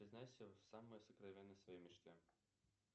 признайся в самой сокровенной своей мечте